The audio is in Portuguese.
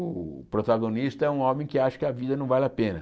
O protagonista é um homem que acha que a vida não vale a pena.